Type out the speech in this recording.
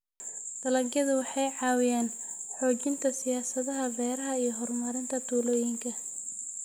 Dalagyadu waxay caawiyaan xoojinta siyaasadaha beeraha iyo horumarinta tuulooyinka.